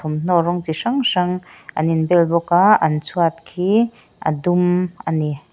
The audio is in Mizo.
thawmhnaw rawng chi hrang hrang anin bel bawk a an chhuat khi adum ani.